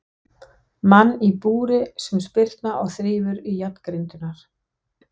Mann í búri sem spyrnir og þrífur í járngrindurnar.